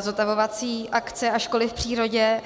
zotavovací akce a školy v přírodě.